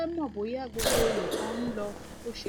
mo fẹ mọ bóyá gbogbo nǹkan ń lọ bó ṣe yẹ